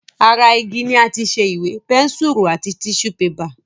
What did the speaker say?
Ara igi ni àti ṣe Ìwé, pẹ́nsùrù àti tíṣù bébà